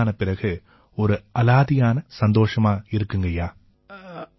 எங்க oxygen tanker நிறுவனமான Inox நிறுவனம் எங்களை எல்லாம் ரொம்ப அக்கறையோட கவனிச்சுக்கறாங்க